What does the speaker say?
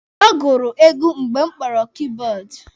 Ọ gụrụ egwu mgbe m kpọrọ kibọọdụ.